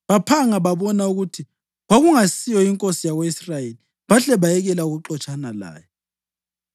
baphanga babona ukuthi kwakungasiyo inkosi yako-Israyeli bahle bayekela ukuxotshana laye.